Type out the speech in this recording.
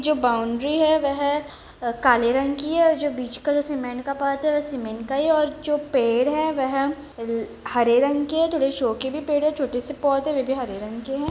इसकी जो बाउंड्री है वे है काले रंग की हैं और जो बीच में जो सीमेंट का पार्ट हैं वे सीमेंट का ही है और जो पेड़ है वे है हरे रंग के थोडे शोव के भी पेड़ हैं थोड़े छोटे से पौधे हैं वो भी हरे रंग के है।